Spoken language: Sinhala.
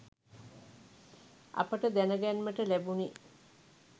අපට දැන ගැන්මට ලැබුනි